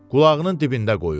Qulağının dibində qoyur.